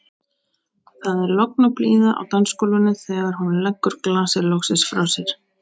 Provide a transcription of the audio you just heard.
Það er logn og blíða á dansgólfinu þegar hún leggur glasið loksins frá sér.